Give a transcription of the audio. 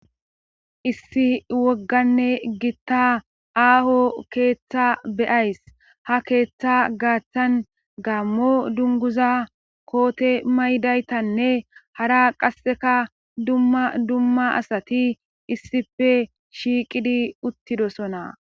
issi wogganne gitta aaho keeththa beyays ha keeththa gaaththan gaammo dunguza koote maydaytanne hara qasseka dumma dumma asati issife shiiqidi uttidosona